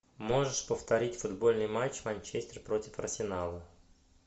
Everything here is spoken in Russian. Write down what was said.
можешь повторить футбольный матч манчестер против арсенала